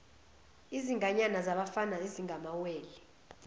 izinganyana zabafana ezingamawele